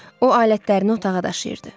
O alətlərini otağa daşıyırdı.